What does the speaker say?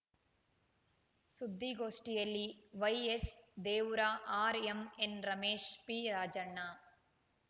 ಸುದ್ಧಿಗೋಷ್ಠಿಯಲ್ಲಿ YS Devur RMN Ramesh P Rajanna